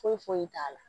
Foyi foyi t'a la